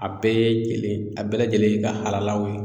A bɛɛ ye kelen a bɛɛ lajɛlen ye i ka halalaw ye